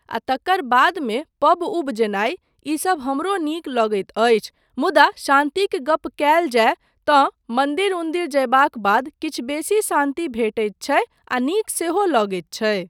आ तकर बादमे पब उब जेनाय, ईसब हमरो नीक लगैत अछि मुदा शान्तिक गप कयल जाय तँमन्दिर उन्दिर जयबाक बाद किछु बेसी शान्ति भेटैत छै आ नीक सेहो लगैत छै।